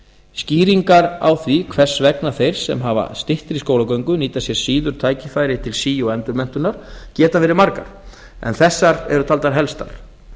skýringar á því hvers vegna þeir sem hafa styttri skólagöngu nýta sér síður tækifæri til sí og endurmenntunar geta veri margar en þessar eru taldar helstar